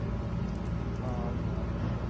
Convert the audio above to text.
ਹਾਂਜੀ ਹਾਂ ਬਿਲਕੁੱਲ